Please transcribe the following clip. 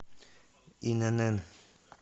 инн